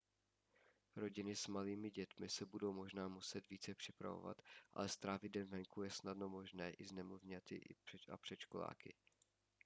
rodiny s malými dětmi se budou možná muset více připravovat ale strávit den venku je snadno možné i s nemluvňaty a předškoláky